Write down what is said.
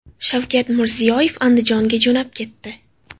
Shavkat Mirziyoyev Andijonga jo‘nab ketdi.